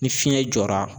Ni fiɲɛ jɔra